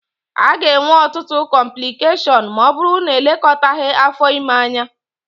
A ga-enwe ọtụtụ cọmplịkeshọnụ ma ọ bụrụ na-elekọtaghi afọ ime anya